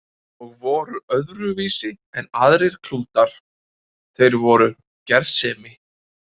Og voru öðruvísi en aðrir klútar, þeir voru gersemi.